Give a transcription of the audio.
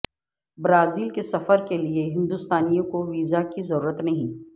Brazil کے سفر کیلئے ہندوستانیوں کو ویزا کی ضرورت نہیں